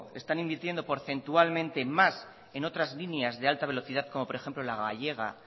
está invirtiendo porcentualmente más en otras líneas de alta velocidad como por ejemplo la gallega